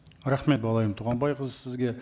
рахмет балайым туғанбайқызы сізге